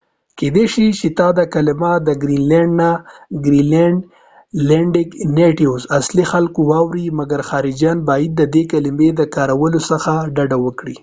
کېدای شي چې ته دا کلمه د ګرین لینډ اصلی خلکوgren landic nattives نه واوری ، مګر خارجېان باید ددې کلمی د کارولو څخه ډډه وکړي